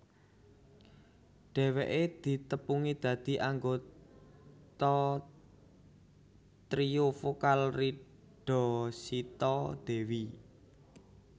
Dhèwèké ditepungi dadi anggota trio vokal Rida Sita Dewi